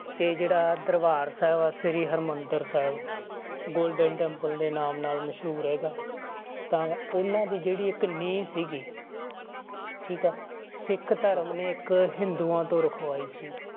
ਤੇ ਜਿਹੜਾ ਦਰਬਾਰ ਸਾਹਿਬ ਆ ਸ੍ਰੀ ਹਰਿਮੰਦਰ ਸਾਹਿਬ golden temple ਦੇ ਨਾਮ ਨਾਲ ਮਸ਼ਹੂਰ ਹੈਗਾ ਤਾਂ ਉਹਨਾਂ ਦੀ ਜਿਹੜੀ ਇੱਕ ਨੀਂਹ ਸੀਗੀ ਠੀਕ ਹੈ ਸਿੱਖ ਧਰਮ ਨੇ ਇੱਕ ਹਿੰਦੂਆਂ ਤੋਂ ਰਖਵਾਈ ਸੀ